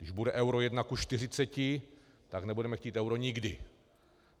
Když bude euro jedna ku čtyřiceti, tak nebudeme chtít euro nikdy.